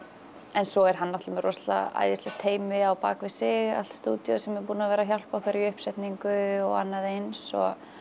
en svo er hann náttúrulega með rosalega æðislegt teymi á bak við sig allt stúdíóið sem er búið að vera að hjálpa okkur í uppsetningu og annað eins